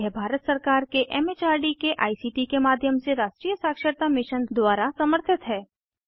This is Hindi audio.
यह भारत सरकार के एम एच आर डी के आई सी टी के माध्यम से राष्ट्रीय साक्षरता मिशन द्वारा समर्थित है